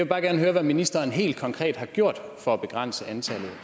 bare gerne høre hvad ministeren helt konkret har gjort for at begrænse antallet